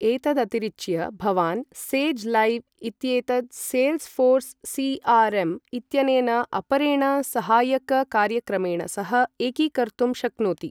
एतदतिरिच्य, भवान् Sage Live इत्येतत् सेल्स् फ़ोर्स् सी.आर्.एम्. इत्यनेन अपरेण सहायककार्यक्रमेण सह एकीकर्तुं शक्नोति।